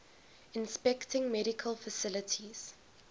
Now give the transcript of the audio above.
inspecting medical facilities